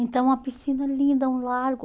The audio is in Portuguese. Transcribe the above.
Então, a piscina é linda, é um lago.